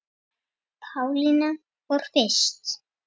Pálína fór fyrst.